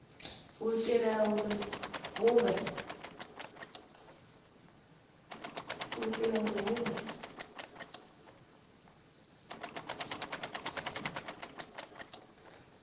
u itela uri hu vhe